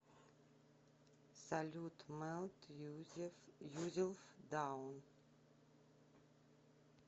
салют мелт юзелф даун